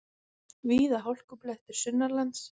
Víða hálkublettir sunnanlands